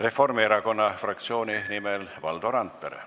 Reformierakonna fraktsiooni nimel Valdo Randpere.